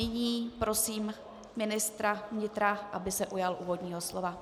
Nyní prosím ministra vnitra, aby se ujal úvodního slova.